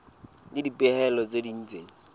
le dipehelo tse ding tse